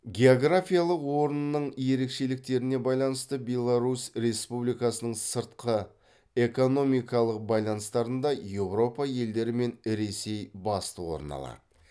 географиялық орнының ерешеліктеріне байланысты беларусь республикасының сыртқы экономикалық байланыстарында еуропа елдері мен ресей басты орын алады